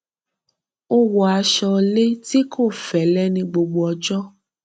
ó wọ aṣọ le tí kò fẹlẹ ní gbogbo ọjọ